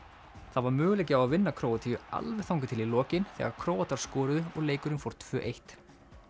það var möguleiki á að vinna Króatíu alveg þangað til í lokin þegar Króatar skoruðu og leikurinn fór tvö eitt